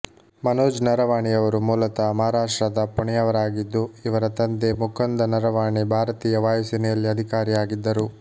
ಮನೋಜ್ ನರವಾಣೆಯವರು ಮೂಲತಃ ಮಹಾರಾಷ್ಟ್ರದ ಪುಣೆಯವರಾಗಿದ್ದು ಇವರ ತಂದೆ ಮುಕುಂದ ನರವಾಣೆ ಭಾರತೀಯ ವಾಯು ಸೇನೆಯಲ್ಲಿ ಅಧಿಕಾರಿಯಾಗಿದ್ದರು